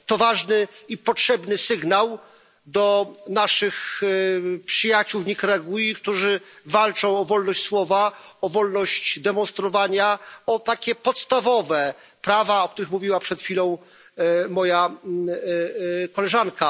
To ważny i potrzebny sygnał dla naszych przyjaciół w Nikaragui, którzy walczą o wolność słowa, o wolność demonstrowania, o takie podstawowe prawa, o których mówiła przed chwilą moja koleżanka.